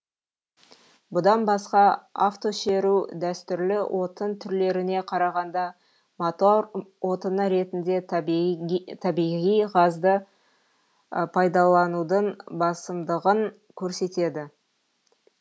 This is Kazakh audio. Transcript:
бұдан басқа автошеру дәстүрлі отын түрлеріне қарағанда мотор отыны ретінде табиғи газды пайдаланудың басымдығын көрсетеді